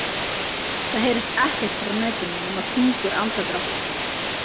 Það heyrist ekkert frá nautinu nema þungur andardráttur.